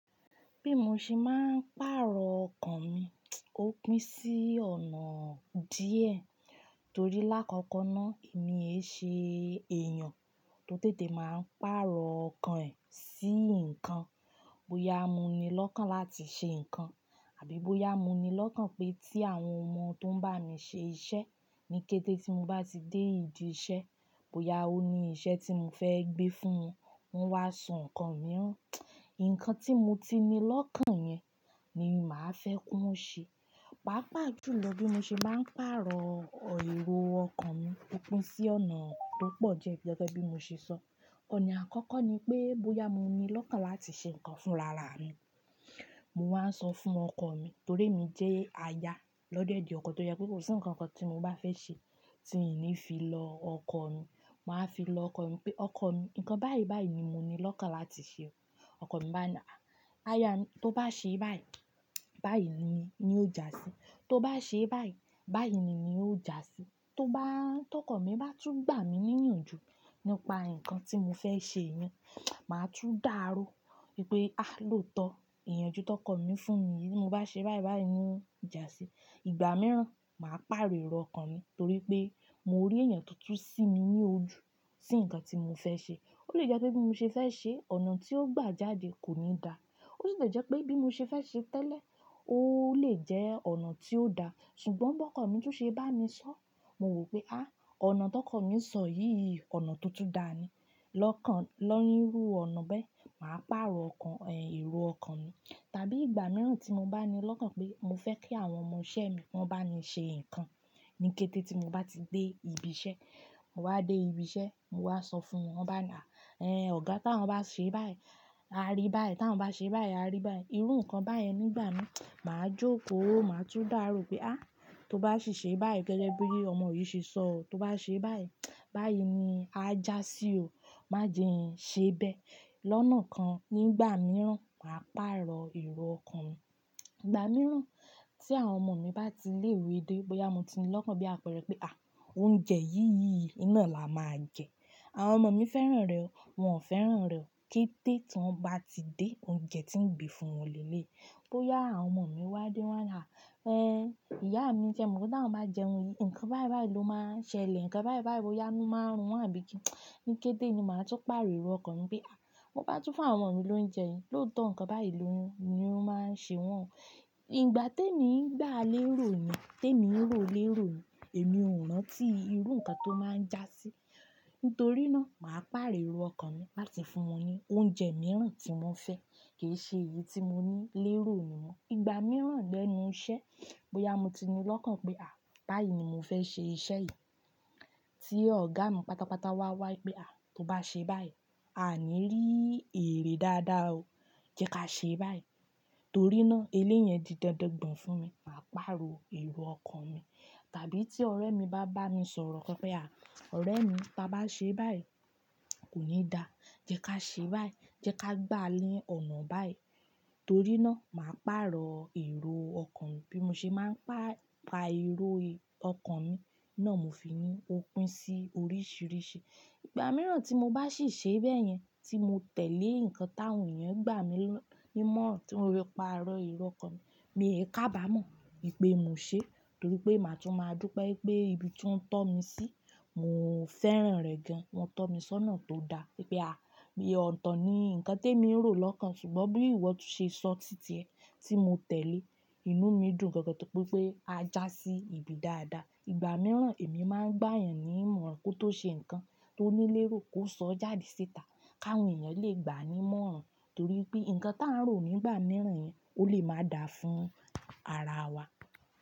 Bí mo ṣe máa ń pàrọ̀ ọkàn mi, ó pín sí ọ̀nà díẹ̀ torí lákòókò náà èmi ẹ ṣe èèyàn tó tètè máa ń pàrọ̀ ọkàn ẹ̀ sí nǹkan. Bóyá mo ní lọ́kàn láti ṣe nǹkan àbí bóyá mo ní lọ́kàn pé tí àwọn ọmọ tó ń bá mi ṣe iṣẹ́ ní kété tí mo bá ti dé ìdí iṣẹ́, bóyá ó ní iṣẹ́ tí mo fẹ́ gbé fún wọn, wọ́n wá sọ nǹkan mi hán. Ǹkan tí mo ti ní lọ́kàn yẹn ni màá fẹ́ kí wọ́n ṣe. Pàápàá jùlọ bí mo ṣe máa ń pàrọ̀ èrò ọkàn mi ó pín sí ọ̀nà tó pọ̀ jẹ́ gẹ́gẹ́ bí mo ṣe sọ. Ọ̀nà àkọ́kọ́ ni pé bóyá mo ní lọ́kàn láti ṣe nǹkan fúnrarami, mo máa ń sọ fún ọkọ mi torí èmi jẹ́ aya lọ́do ọkọ tó je pé kò sí nǹkan kan tí mo bá fẹ́ ṣe tí kì í ní fi lọ ọkọ mi. Màá fi lọ ọkọ mi pé, "Ọkọ mi, nǹkan báyìí báyìí ni mo ní lọ́kàn láti ṣe." Ọkọ mi bá náà, "Aya mi, tó bá ṣe báyìí, báyìí ni ní ó ja sí i. Tó bá ṣe báyìí, báyìí ni ní ó ja sí i." Tó bá-- tó kọ̀ mí bá tún gbà mí nínú ju nípa nǹkan tí mo fẹ́ ṣe mi, màá tún dàrú wípé, "A! Lótọ́ ìyànjú tó kọ̀ mí fún mi, bí mo bá ṣe báyìí báyìí ni ó ja sí i." Ìgbà mìíràn, màá pàrọ̀ èrò ọkàn mi torí pé mo rí èèyàn to tun sí mi ní ojú sí nǹkan tí mo fẹ́ ṣe. Ó lè jẹ́ pé bí mo ṣe fẹ́ ṣe, ọ̀nà tí ó gbà jáde kò ní da. Ó sì le jẹ́ pé bí mo ṣe fẹ́ ṣe tẹ́lẹ̀, ó lè jẹ́ ọ̀nà tí ó da. Ṣùgbọ́n bó kọ̀ mí tún ṣe bá mi sọ, mo wí pé, "À! Ọ̀nà tó kọ̀ mí sọ yìí yìí, ọ̀nà tuntun dà ni." Lọ́kàn-- ló nirú ọ̀nà bẹ́ẹ̀, màá pàrọ̀ ọkàn ẹ̀, èrò ọkàn mi. Tàbí ìgbà mìíràn tí mo bá ní lọ́kàn pé mo fẹ́ kí àwọn ọmọ isẹ́ mi wọ́n bá mi ṣe nǹkan ní kété tí mo bá ti dé ibi iṣẹ́, mo wá dé ibi iṣẹ́, mo wá sọ fún wọn bá náà, "Ẹ́n, ọ̀gá, tí àwọn bá ṣe báyìí, a rí báyìí. Tí àwọn bá ṣe báyìí, a rí báyìí." Irú nǹkan báyẹn nígbà náà, màá jókòó, màá tún dàro wípé, "À! Tó bá sì ṣe báyìí gẹ́gẹ́ bí ọmọ yìí ṣe sọ, tó bá ṣe báyìí, báyìí ni a já sí i o. Má jẹ ẹ ṣe bẹ́ẹ̀." Lọ́nà kan nígbà mìíràn, màá pàrọ̀ èrò ọkàn mi. Ìgbà mìíràn tí àwọn ọmọ mi bá ti lé ìwé dé, bóyá mo ti ní lọ́kàn bí a pẹ́ rẹ pé, "À! Oúnjẹ yìí yìí, iná la máa jẹ." Àwọn ọmọ mi fẹ́ràn rẹ̀ o, wọ́n ò fẹ́ràn rẹ̀ o. Kété tí wọ́n bá ti dé, oúnjẹ tí ń gbé fún wọn léèlé. Bóyá àwọn ọmọ mi wá dé wọ́n á náà, "Ẹ́n, ìyá mi se mọ̀, pe tí àwọn bá jẹun yìí, nǹkan báyìí báyìí ló máa ṣẹlẹ̀, nǹkan báyìí báyìí, bóyá máa inu marun won àbí kí." Ní kété ni màá tún pàrọ̀ èrò ọkàn mi pé, "À! Mo bá tún fún àwọn ọmọ mi lóúnjẹ, lóòótọ́ nǹkan báyìí lóhùn ni ó máa ṣe wọ́n." Ìgbà tí èmi ń gba lérò ni, tí èmi ń rò lérò ni, èmi ò rántí irú nǹkan tó máa ń jásí. Nítorínà màá pàrọ̀ èrò ọkàn mi láti fún wọn ní oúnjẹ mìíràn tí wọ́n fẹ́, kì í ṣe èyí tí mo ní lérò nìwọ́n. Ìgbà mìíràn lẹ́nu iṣẹ́, bóyá mo ti ní lọ́kàn pé, "À! Báyìí ni mo fẹ́ ṣe iṣẹ́ yìí." Tí ọ̀gá mi pátápátá wá wá wípé, "À! Tó bá ṣe báyìí, a ní rí èrè dáadáa o. Jẹ́ ká ṣe báyìí." Torínà eléyẹn di dọ̀dọ̀ gbọ̀n fún mi, màá pàrọ̀ èrò ọkàn mi. Tàbí tí ọ̀rẹ́ mi bá bá mi sọ̀rọ̀ kan pẹ à, "Ọ̀rẹ́ mi, tí a bá ṣe báyìí, kò ní da. Jẹ́ ká ṣe báyìí, jẹ́ ká gbà a ni ọ̀nà báyìí." Torínà màá pàrọ̀ èrò ọkàn mi. Bí mo ṣe máa ń pà-pa èrò ọkàn mi náà, mo fi ní opín sí oríṣìíríṣìí. Ìgbà mìíràn tí mo bá sì ṣe bẹ́ẹ̀ yẹn, tí mo tẹ̀lé nǹkan táwọn èèyàn gbà mí lọ́-- ní mọ́, tí mo rí pàrọ̀ èrò ọkàn mi, mi ò kaba mọ̀ wípé mo ṣe. Torí pé màá tún máa dú pé pé ibi tí wọ́n tọ́ mi sí, mò ń fẹ́ràn rẹ̀ gan. Wọ́n tọ́ mi sọ́nà tó da wípé, "À! Bí ọ̀tọ̀ ni nǹkan tí èmi ń rò lọ́kàn ṣùgbọ́n bí ìwọ tún ṣe sọ títí ẹ, tí mo tẹ̀lé, inú mi dùn gangan tó pé pé a já sí ibi dáadáa." Ìgbà mìíràn èmi máa ń gbà yàn ní ìmọ̀ràn kó tó ṣe nǹkan tó ní lérò kó sọ jáde síta káwọn èèyàn lè gbà á ní mọ́ràn torí pé nǹkan tí a ń rò nígbà mìíràn yẹn ó lè máa da fún ara wa.